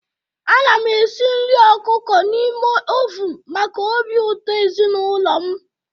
Ana m esi nri ọkụkọ n'ime oven maka obi ụtọ ezinụlọ m.